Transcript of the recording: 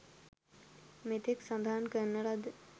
මෙතෙක් සඳහන් කරන ලද